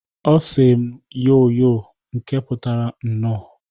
Ọ sị m, "Yoo yoo!" nke putara "Nnọọ!"